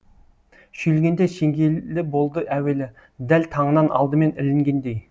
шүйілгенде шеңгелі болды әуелі дәл таңынан алдымен ілінгендей